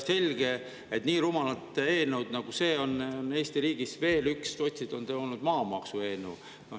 Selge, et nii rumalaid eelnõusid nagu see, on Eesti riigis veel üks: sotsid on maamaksu eelnõu.